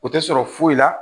O tɛ sɔrɔ foyi la